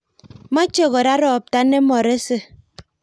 Moche kora ropto nemorese.